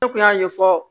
Ne kun y'a ɲɛfɔ